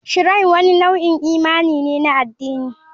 Shrine wani nau'in imani ne na addini.